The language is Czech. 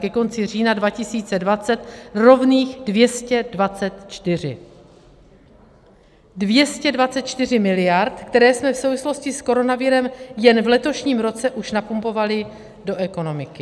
Ke konci října 2020 rovných 224; 224 miliard, které jsme v souvislosti s koronavirem jen v letošním roce už napumpovali do ekonomiky.